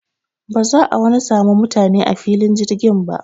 Ba za'a wani samu mutane a filin jirgin ba.